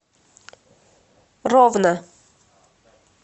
ровно